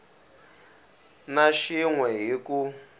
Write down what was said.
na xin we hi ku